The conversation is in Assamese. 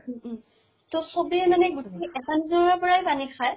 উম উম। ত চবেই মানে গোটেই এটা নিজৰাৰ পৰাই পানী খায়?